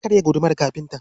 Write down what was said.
Ya karya gudumar kafinta.